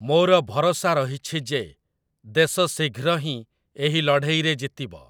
ମୋର ଭରସା ରହିଛି ଯେ, ଦେଶ ଶୀଘ୍ର ହିଁ ଏହି ଳଢ଼େଇରେ ଜିତିବ।